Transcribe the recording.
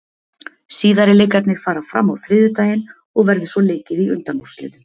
Síðari leikirnir fara fram á þriðjudaginn og verður svo leikið í undanúrslitum.